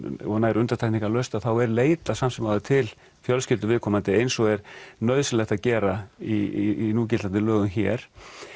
og nær undantekningarlaust þá er leitað samt sem áður til fjölskyldu viðkomandi eins og er nauðsynlegt að gera í núgildandi lögum hér